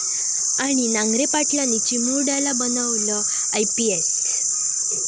...आणि नांगरे पाटलांनी चिमुरड्याला बनवलं आयपीएस!